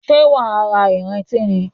Ṣé wàá ra ìrintí ni?